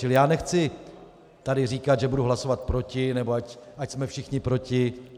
Čili já nechci tady říkat, že budu hlasovat proti nebo ať jsme všichni proti.